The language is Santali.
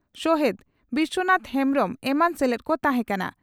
ᱥᱚᱦᱮᱛ ᱵᱤᱥᱚᱱᱟᱛᱷ ᱦᱮᱢᱵᱽᱨᱚᱢ ᱮᱢᱟᱱ ᱥᱮᱞᱮᱫ ᱠᱚ ᱛᱟᱦᱮᱸ ᱠᱟᱱᱟ ᱾